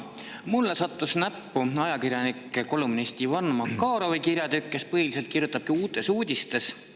Mulle sattus näppu ajakirjaniku ja kolumnisti Ivan Makarovi kirjatükk, kes põhiliselt kirjutabki Uutes Uudistes.